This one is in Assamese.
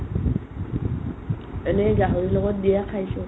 এনে গাহৰিৰ লগত দিয়া খাইছো